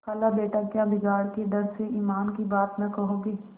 खालाबेटा क्या बिगाड़ के डर से ईमान की बात न कहोगे